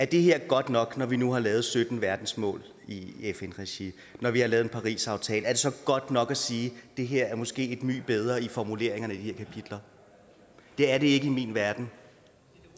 det her godt nok når vi nu har lavet sytten verdensmål i fn regi når vi har lavet en parisaftale er det så godt nok at sige at det her måske er nyt og bedre i formuleringerne i de her kapitler det er det ikke i min verden